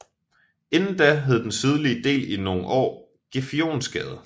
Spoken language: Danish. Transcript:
Inden da hed den sydlige del i nogle år Gefionsgade